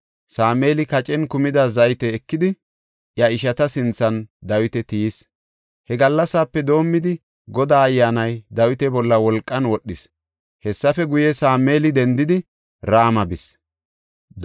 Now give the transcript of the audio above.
Sameeli kacen kumida zayte ekidi, iya ishata sinthan Dawita tiyis. He gallasape doomidi, Godaa Ayyaanay Dawita bolla wolqan wodhis. Hessafe guye, Sameeli dendidi, Rama bis.